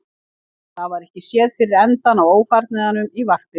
En það var ekki séð fyrir endann á ófarnaðinum í varpinu.